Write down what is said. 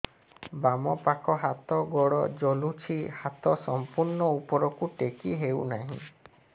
ବାମପାଖ ହାତ ଗୋଡ଼ ଜଳୁଛି ହାତ ସଂପୂର୍ଣ୍ଣ ଉପରକୁ ଟେକି ହେଉନାହିଁ